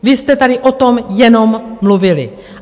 Vy jste tady o tom jenom mluvili.